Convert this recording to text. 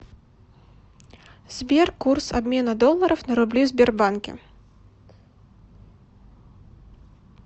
сбер курс обмена долларов на рубли в сбербанке